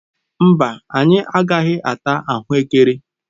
Mba, anyị agaghị ata ahuekere.